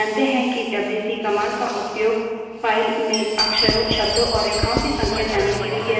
हम जानते हैं कि डब्ल्यू we wc command का उपयोग file में अक्षरों शब्दों और रेखाओं की संख्या जानने के लिए किया जाता है